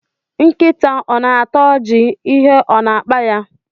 Nkita o na-ata oji, ihe o na-akpaya?